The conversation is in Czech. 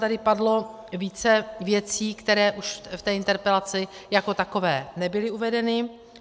Tady padlo více věcí, které už v té interpelaci jako takové nebyly uvedeny.